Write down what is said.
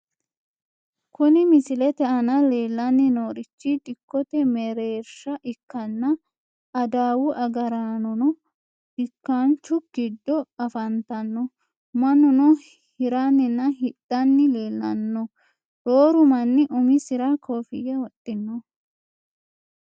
Kuni misilete aana leellanni noorichi dikkote mereersha ikkanna, adawu agaraanono dikkaanchu giddo afantanno, mannuno hiranninna hidhanni leellanno, rooru manni uminsara kofiyya wodhinoho.